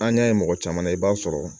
An y'a ye mɔgɔ caman na i b'a sɔrɔ